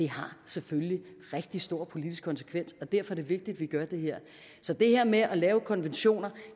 har selvfølgelig rigtig store politisk konsekvenser og derfor er det vigtigt at vi gør det her så det her med at lave konventioner